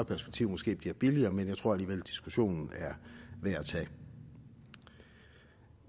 perspektiv måske bliver billigere men jeg tror alligevel diskussionen er værd at tage